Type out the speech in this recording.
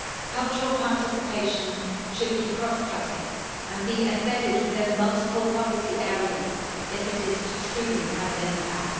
Cultural participation should be cross cutting and be embedded within multiple policy areas if it is to truly have an impact.